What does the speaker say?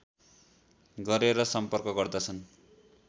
गरेर सम्पर्क गर्दछन्